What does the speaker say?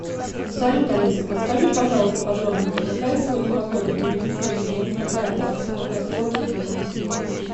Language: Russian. салют алиса подскажи пожалуйста подробненько какая сегодня погода будет ли сегодня дождь какая влажность какая скорость ветра